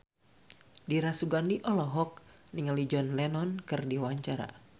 Dira Sugandi olohok ningali John Lennon keur diwawancara